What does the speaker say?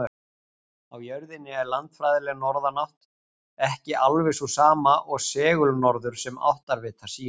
Á jörðinni er landfræðileg norðurátt ekki alveg sú sama og segulnorður sem áttavitar sýna.